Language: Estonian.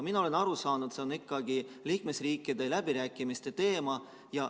Mina olen aru saanud, et see on ikkagi liikmesriikide läbirääkimiste teema.